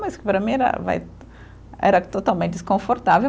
Mas, para mim, era vai era totalmente desconfortável.